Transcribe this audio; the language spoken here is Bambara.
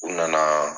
U nana